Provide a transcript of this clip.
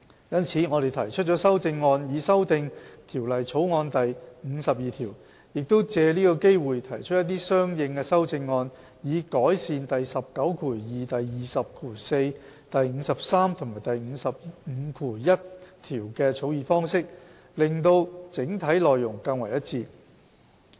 因此，我們提出了修正案，以修訂《條例草案》第52條，亦藉此機會提出一些相應的修正案，以改善第192、204、53和551條的草擬方式，使整體內容更為一致。